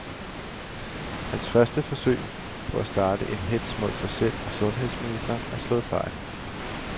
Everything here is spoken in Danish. Hans første forsøg på at starte en hetz mod sig selv og sundheds ministeren er slået fejl.